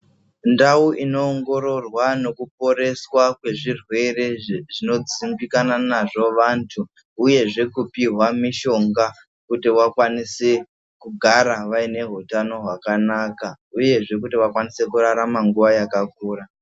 Ndau ino ongororwa neku poreswa kwe zvirwere zvino dzimbikana nazvo vantu uyezve kupihwa mushonga kuti vakwanise kugara vaine hutanho wakanaka uyezve vakwanise kurarama nguva yakakura.